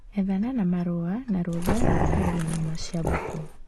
Ethana na marũa na rũtha rwa kwendia nyama cia mbũkũ